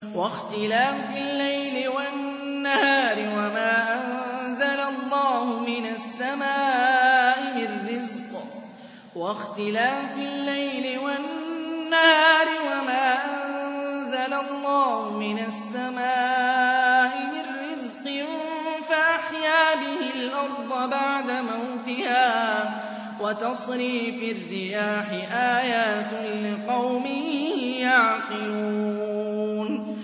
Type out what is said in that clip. وَاخْتِلَافِ اللَّيْلِ وَالنَّهَارِ وَمَا أَنزَلَ اللَّهُ مِنَ السَّمَاءِ مِن رِّزْقٍ فَأَحْيَا بِهِ الْأَرْضَ بَعْدَ مَوْتِهَا وَتَصْرِيفِ الرِّيَاحِ آيَاتٌ لِّقَوْمٍ يَعْقِلُونَ